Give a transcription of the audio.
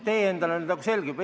Tee endale nüüd selgeks.